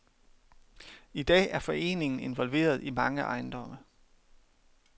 I dag er foreningen involveret i mange ejendomme.